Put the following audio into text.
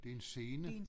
Det er en scene